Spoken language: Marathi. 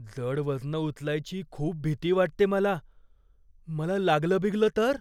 जड वजनं उचलायची खूप भीती वाटते मला. मला लागलं बिगलं तर?